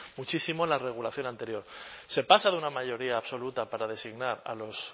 muchísimo la regulación anterior se pasa de una mayoría absoluta para designar a los